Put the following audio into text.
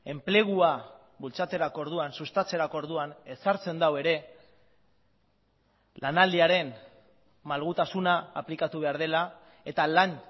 enplegua bultzatzerako orduan sustatzerako orduan ezartzen du ere lanaldiaren malgutasuna aplikatu behar dela eta lan